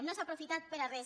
no s’ha aprofitat per a res